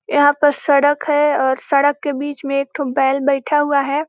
यहाँ पर सड़क हैं और सड़क के बीच में एक ठो बैल बैठा हुआ हैं।